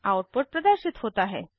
output प्रदर्शित होता है